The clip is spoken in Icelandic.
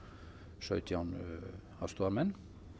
sautján aðstoðarmenn